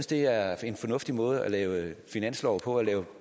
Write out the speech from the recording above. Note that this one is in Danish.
det er en fornuftig måde at lave finanslov på og lave